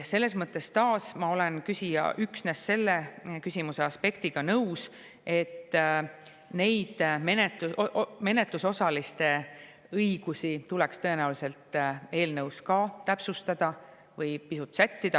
Selles mõttes ma olen taas nõus üksnes küsimuse selle aspektiga, et neid menetlusosaliste õigusi tuleks eelnõus tõenäoliselt täpsustada või pisut sättida.